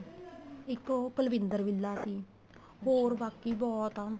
ਇੱਕ ਉਹ ਕੁਲਵਿੰਦਰ ਬਿੱਲਾ ਸੀ ਹੋਰ ਬਾਕੀ ਬਹੁਤ ਆ